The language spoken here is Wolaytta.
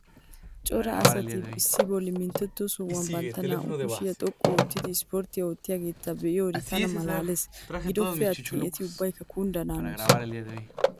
Cara asati issi bollaa minttettiyo sohuwaani bantta naa'u kushshiyaa xoqqu oottidi 'issipportiyaa' oottiyagetta be'iyodde taana maalalles. Gidoppe attin eti ubbaykka kundana hanoosona.